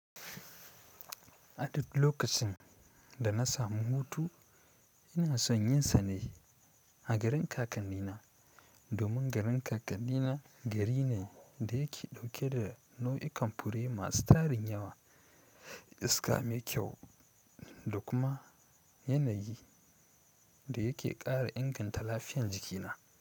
Aduk lokacin da na samu hutu ina son yin sane a garin kakanni na. Domin garin kakannina gari ne da yake dauke da nau'ikan fure masu tarin yawa da iska mai kyau dakuma yanayi da yake kara inganta lafiyan jikina.